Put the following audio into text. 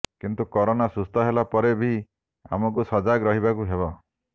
କିନ୍ତୁ କରୋନା ସୁସ୍ଥ ହେଲା ପରେ ବି ଆମକୁ ସଜାଗ ରହିବାକୁ ହେବ